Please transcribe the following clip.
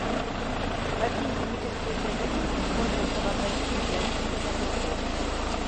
какие химические соединения используются в организме для синтеза белков